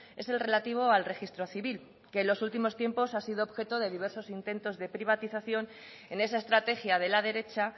es el relativo al registro civil que en los últimos tiempos ha sido objeto de diversos intentos de privatización en esa estrategia de la derecha